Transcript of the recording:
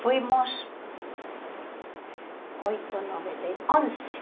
Fomos oito, nove, dez, onze.